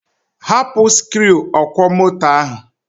Hapụ sikruuọkwọmoto ahụ.